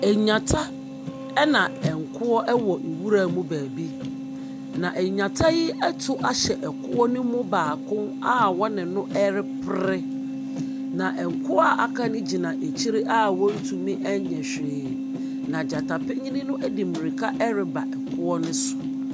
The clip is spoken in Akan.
Nnyata, ɛna akoɔ wɔ nwiram baabi, na nnyata yi atu ahyɛ ɛkoɔ no mu baako a wɔne no repre. Na akoɔ a aka no gyina akyire a wɔntumi nyɛ hwee, na gyata panin no de mmirika repa ɛkoɔ no so.